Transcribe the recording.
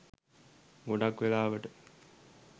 ගොඩක් වෙලාවට